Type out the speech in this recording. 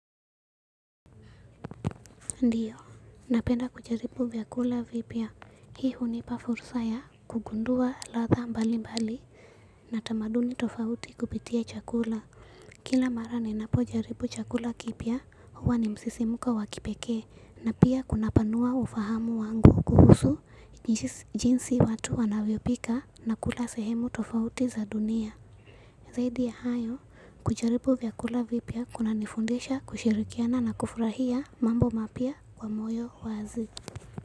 Ndiyo, napenda kujaribu vyakula vipya. Hii hunipafursa ya kugundua ladha mbali mbali na tamaduni tofauti kupitia chakula. Kila marani napojaribu chakula kipya huwa ni msisimko wakipekee. Na pia kuna panua ufahamu wangu kuhusu jinsi watu wanavyopika na kula sehemu tofauti za dunia. Zaidi ya hayo, kujaribu vyakula vipya kuna nifundisha kushirikiana na kufurahia mambo mapya kwa moyo. Wazi.